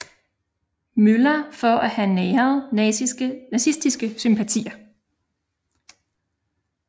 Møller for at have næret nazistiske sympatier